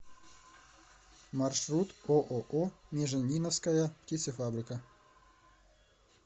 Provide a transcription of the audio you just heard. маршрут ооо межениновская птицефабрика